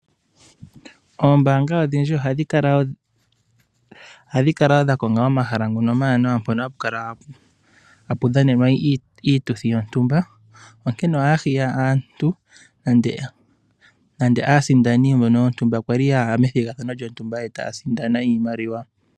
Oombaanga odhindji ohadhi kala wo dha konga omahala ngono omawanawa mpono hapu kala hapu dhanenwa iituthi yontumba, onkene ohaya hiya aantu nande aasindani mbono yontumba kwa li yaya methigathano lyontumba e taya sindana iimaliwa.